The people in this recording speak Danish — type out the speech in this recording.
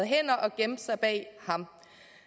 gemte sig bag ham